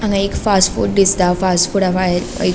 हांगा एक fast food दिसता फास्ट फूडा भायर एक --